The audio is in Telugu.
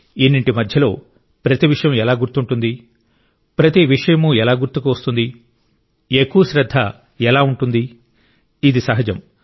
ఇన్నింటి మధ్యలో ప్రతి విషయం ఎలా గుర్తుంటుంది ప్రతి విషయమూ ఎలా గుర్తుకు వస్తుంది ఎక్కువ శ్రద్ధ ఎలా ఉంటుంది ఇది సహజం